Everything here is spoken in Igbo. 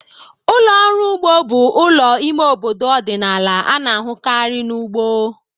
Ụlọ ọrụ ugbo bụ ụlọ ime obodo ọdịnala a na-ahụkarị na ugbo.